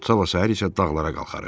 Sabah səhər isə dağlara qalxarıq.